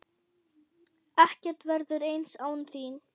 Ekkert verður eins án þín.